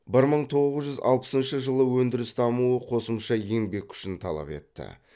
бір мың тоғыз жүз алпысыншы жылы өндіріс дамуы қосымша еңбек күшін талап етті